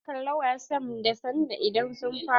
Za mu kalla wasan ba da sanda idan sun fara.